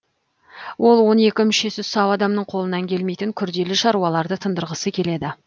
ол он екі мүшесі сау адамның қолынан келмейтін күрделі шаруаларды тындырғысы келеді